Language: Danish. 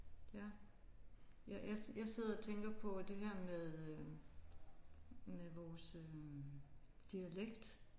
Ja. Jeg jeg sidder og tænker på at det her med øh med vores øh dialekt